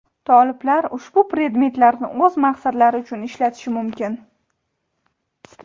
"Toliblar" ushbu predmetlarni o‘z maqsadlari uchun ishlatishi mumkin.